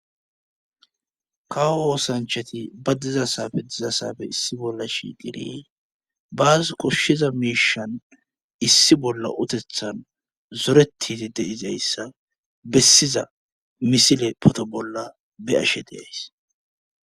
kawo woosanchati ba dizasafe dizasafe issi bolla shi giri baas koshshiza miishan issi bolla utethan zoretiti deizayssa bessiza misile poto bolla be ashe deays